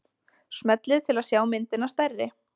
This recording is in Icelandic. Smellið til að sjá myndina stærri.